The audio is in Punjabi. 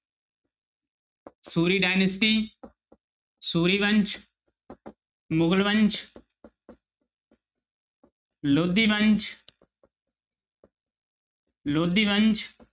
ਸੂਰੀ dynasty ਸੂਰੀ ਵੰਸ ਮੁਗਲ ਵੰਸ ਲੋਧੀ ਵੰਸ ਲੋਧੀ ਵੰਸ